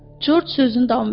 Corc sözünü davam etdi.